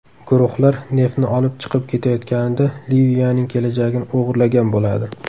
Guruhlar neftni olib chiqib ketayotganida Liviyaning kelajagini o‘g‘irlagan bo‘ladi.